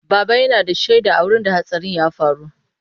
Baba yana da shaida a wurin da hatsarin ya faru.